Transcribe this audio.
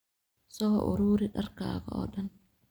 Soo ururi dharkaaga oo dhan